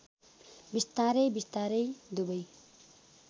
बिस्तारै बिस्तारै दुबै